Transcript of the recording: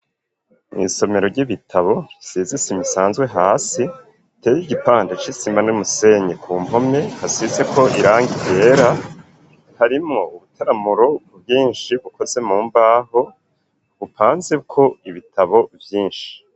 Mw'isomero ry'ibitabo risize isima isanzwe hasi, iteye igipande c'isima n'umusenyi, ku mpome hasizeko irangi ryera, harimwo ubutaramuro bwinshi bukoze mu mbaho bupanzeko ibitabo vyinshi.